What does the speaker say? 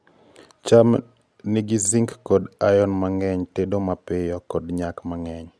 Faida 1300 2000 2.5-3 6-10. Cham nigi zinc kod iron mangeny tedo mapiyo kod nyak mangeny